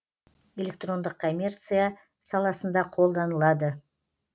электрондық коммерция саласында қолданылады